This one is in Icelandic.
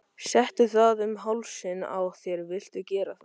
Settu það um hálsinn á þér viltu gera það?